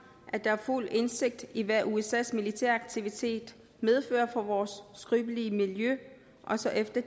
at der er fuld indsigt i hvad usas militære aktivitet medfører for vores skrøbelige miljø også efter